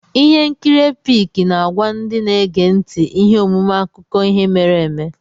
Ihe nkiri Epic na-agwa ndị na-ege ntị ihe omume akụkọ ihe mere eme.